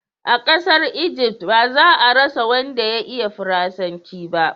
a kasar Ijift ba za a rasa wanda ya iya faransanci ba